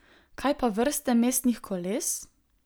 Kaj pa vrste mestnih koles?